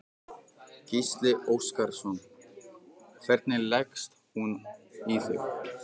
Gísli Óskarsson: Hvernig leggst hún í þig?